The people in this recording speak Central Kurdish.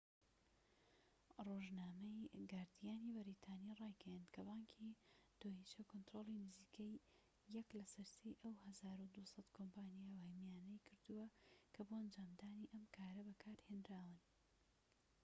ڕۆژنامەی گاردیانی بەریتانی ڕایگەیاند کە بانکی دۆیچە کۆنتڕۆڵی نزیکەی یەك لەسەر سێی ئەو١٢٠٠ کۆمپانیا وەهمییانەی کردووە کە بۆ ئەنجامدانی ئەم کارە بەکارهێنراون